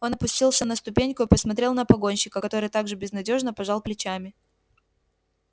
он опустился на ступеньку и посмотрел на погонщика который так же безнадёжно пожал плечами